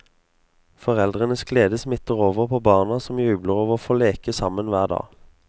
Foreldrenes glede smitter over på barna som jubler over å få leke sammen hver dag.